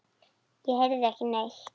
Ég heyrði ekki neitt.